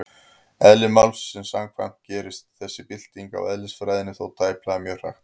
Eðli málsins samkvæmt gerist þessi bylting á eðlisfræðinni þó tæplega mjög hratt.